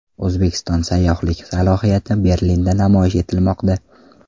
O‘zbekiston sayyohlik salohiyati Berlinda namoyish etilmoqda.